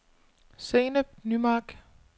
Zeynep Nymark